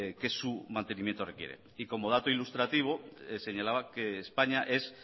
que su mantenimiento requiere y como dato ilustrativo señalaba que españa es